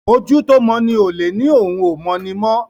ojú tó mọ ní olè ní òún o mọ ní mọ.